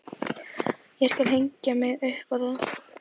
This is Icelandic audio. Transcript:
Ég skal hengja mig upp á það!